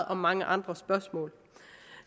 om mange andre spørgsmål